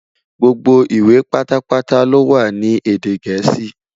Gbogbo ìwé pátá pátá lowa ní èdè gèésì